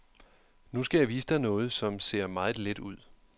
Nu skal jeg vise dig noget, som ser meget let ud.